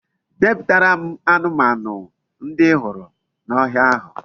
Depụtara m anụmanụ ndi I hụrụ n'ohia ahụ